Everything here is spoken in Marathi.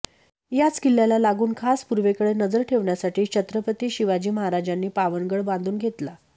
याच किल्ल्याला लागून खास पूर्वेकडे नजर ठेवण्यासाठी छत्रपती शिवाजी महाराजांनी पावनगड बांधुन घेतला